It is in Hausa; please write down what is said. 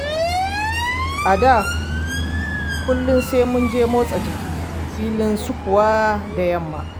A da kullum sai munje motsa jiki filin sukuwa da yamma.